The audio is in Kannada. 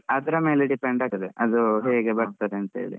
ಅದ್ರ ಮೇಲೆ depend ಆಗ್ತದೆ ಅದು ಹೇಗೆ ಬರ್ತದೆ ಅಂತ ಹೇಳಿ.